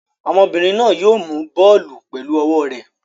Obìnrin náà yóò mú bọ́ọ́lù pẹ̀lú ọwọ́ rẹ̀.